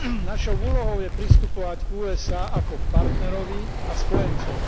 Našou úlohou je pristupovať k USA ako k partnerovi a spojencovi.